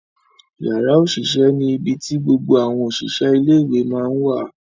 Yara osise ni ibi ti gbogbo awọn oṣiṣẹ ile iwe ma ǹ wa.